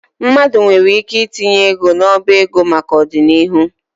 Mmadụ nwere ike itinye ego n'ọba ego maka ọdịnihu.